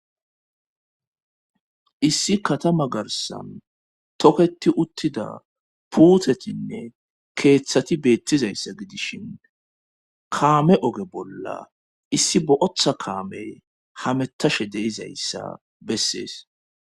issi katama garsan toketi uttida puutetinne keeththati beettizayssa gidishin kaame oge bolla issi bootha kaame hamettashe de'izayssa bessees